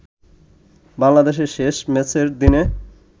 বাংলাদেশের শেষ ম্যাচের দিনে